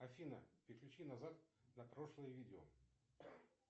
афина переключи назад на прошлое видео